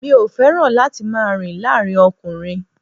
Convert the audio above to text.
Mi ò fẹ́ràn láti máa rìn láàárín ọkùnrin